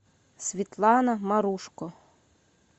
светлана марушко